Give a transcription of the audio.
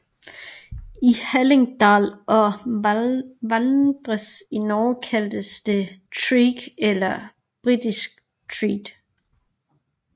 I Hallingdal og Valdres i Norge kaldes det treak eller brisketreak